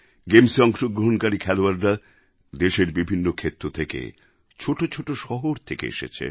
গেমস্এ অংশগ্রহণকারী খেলোয়াড়রা দেশের বিভিন্ন ক্ষেত্র থেকে ছোট ছোট শহর থেকে এসেছে